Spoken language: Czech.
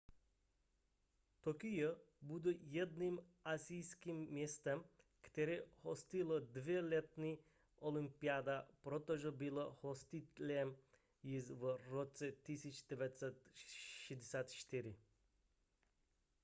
tokio bude jediným asijským městem které hostilo dvě letní olympiády protože bylo hostitelem již v roce 1964